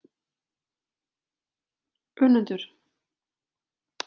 Önundur